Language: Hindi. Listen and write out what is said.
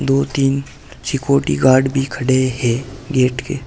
दो तीन सिक्योरिटी गार्ड भी खड़े हैं गेट के।